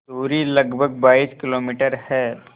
दूरी लगभग बाईस किलोमीटर है